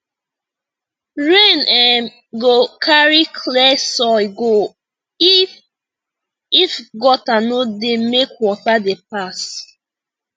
rain um go carry clear soil go if if gutter no dey make water dey pass